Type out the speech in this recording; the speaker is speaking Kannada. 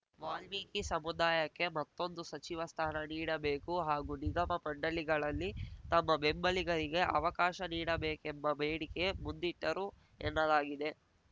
ವಾಲ್ಮೀಕಿ ಸಮುದಾಯಕ್ಕೆ ಮತ್ತೊಂದು ಸಚಿವ ಸ್ಥಾನ ನೀಡಬೇಕು ಹಾಗೂ ನಿಗಮ ಮಂಡಳಿಗಳಲ್ಲಿ ತಮ್ಮ ಬೆಂಬಲಿಗರಿಗೆ ಅವಕಾಶ ನೀಡಬೇಕೆಂಬ ಬೇಡಿಕೆ ಮುಂದಿಟ್ಟರು ಎನ್ನಲಾಗಿದೆ